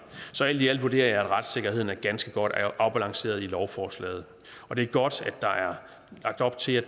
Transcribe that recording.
så alt i alt vurderer jeg at retssikkerheden er ganske godt afbalanceret i lovforslaget og det er godt at der er lagt op til at